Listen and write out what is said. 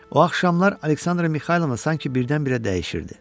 O axşamlar Aleksandra Mixaylovna sanki birdən-birə dəyişirdi.